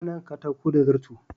Ana yanka katako da zarto.